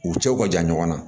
U cɛw ka jan ɲɔgɔn na